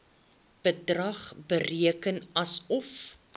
bedrag bereken asof